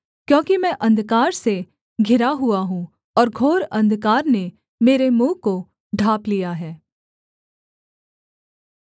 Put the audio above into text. क्योंकि मैं अंधकार से घिरा हुआ हूँ और घोर अंधकार ने मेरे मुँह को ढाँप लिया है